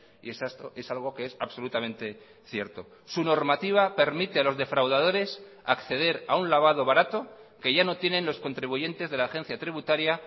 y es algo que es absolutamente cierto su normativa permite a los defraudadores acceder a un lavado barato que ya no tienen los contribuyentes de la agencia tributaria